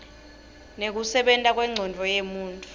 nekusebenta kwencondvo yemuntfu